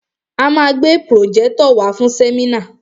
A ma gbé pròjẹ́tọ̀ wàá fún sẹ́mínà.